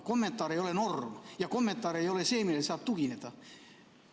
Kommentaar ei ole norm ja kommentaar ei ole see, millele saab tugineda.